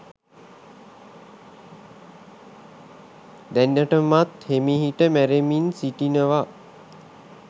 දැනටමත් හෙමිහිට මැරෙමින් සිටිනව.